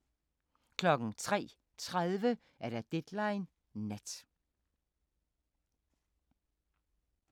03:30: Deadline Nat